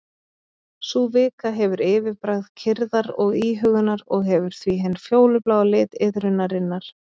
Sú vika hefur yfirbragð kyrrðar og íhugunar og hefur því hinn fjólubláa lit iðrunarinnar.